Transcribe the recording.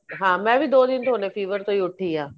ਮੈਂ ਵੀ ਦੋ ਦਿਨ ਤੋ fever ਤੋਂ ਹੀ ਉਠੀ ਆ